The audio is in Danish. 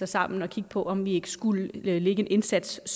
sammen og kigge på om vi ikke skulle lægge en indsats